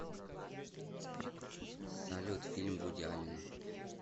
салют фильм вуди аллена